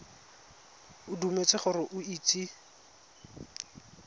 o dumetse gore o itse